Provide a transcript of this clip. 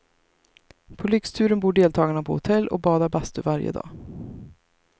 På lyxturen bor deltagarna på hotell och badar bastu varje dag.